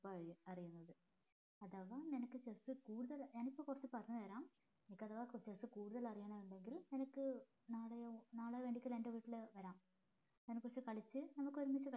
ഇപ്പഴാ അറീണത് അഥവാ നിനക്ക് chess കൂടുതൽ ഞാനിപ്പോ കുറച്ച് പറഞ്ഞ് തരാം നിനക്ക് അഥവാ chess കുറിച്ച് കൂടുതൽ അറിയണമുണ്ടെങ്കിൽ നാളെയോ നാളെ വേണ്ടിട്ട് എൻ്റെ വീട്ടില് വരാം അതിനെ കുറിച്ച് കളിച്ച് നമുക്ക് ഒരുമിച്ച് കളിക്കാം